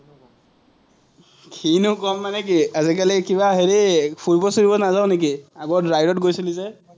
কিনো ক'ম মানে কি, আজিকালি কিবা হেৰি ফুৰিব-চুৰিব নাযাৱ নেকি, আগত ride ত গৈছিলি যে?